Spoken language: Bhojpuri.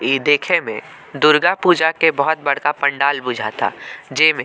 इ देखे में दुर्गा पूजा के बहुत बड़का पंडाल बुझाता जेमें --